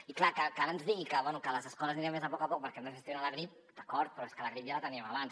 i clar que ara ens digui que les escoles aniran més a poc a poc perquè no es gestiona la grip d’acord però és que la grip ja la teníem abans